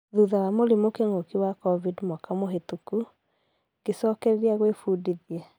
Thutha wa mũrimũ kĩng'oki wa Covid mwaka muhitũku , gicũkereria gwĩ fundithia